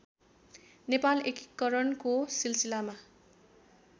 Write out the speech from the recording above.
नेपाल एकीकरणको सिलसिलामा